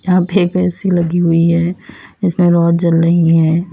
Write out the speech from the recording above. यहां पे एक ऐ_सी लगी हुई हैं जिसमें रॉड जल रही हैं।